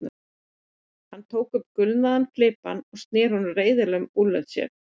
Hann tók upp gulnaðan flibba og sneri honum reiðilega um úlnlið sér.